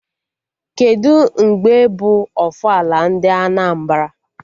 Kedụ mgbe bụ ofala ndị Anambra?